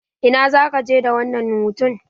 Ina zaka je da wannan hutun?